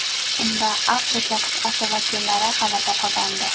Unda Afrika qit’asi vakillari g‘alaba qozondi.